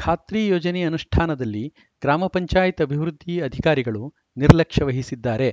ಖಾತ್ರಿ ಯೋಜನೆ ಅನುಷ್ಠಾನದಲ್ಲಿ ಗ್ರಾಮ ಪಂಚಾಯತ್ ಅಭಿವೃದ್ದಿ ಅಧಿಕಾರಿಗಳು ನಿರ್ಲಕ್ಷ್ಯ ವಹಿಸಿದ್ದಾರೆ